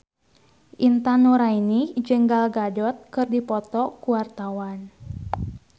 Intan Nuraini jeung Gal Gadot keur dipoto ku wartawan